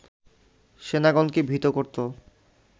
সেনাগণকে ভীত করত